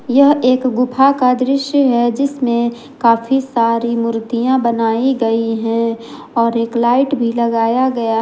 यह एक गुफा का दृश्य है जिसमें काफी सारी मूर्तियां बनाई गई हैं और एक लाइट भी लगाया गया--